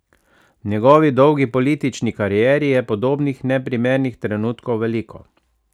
V njegovi dolgi politični karieri je podobnih neprimernih trenutkov veliko.